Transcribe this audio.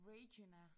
Regina